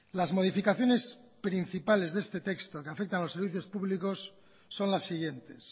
las modificaciones principales de este texto que afecta a los servicios públicos son las siguientes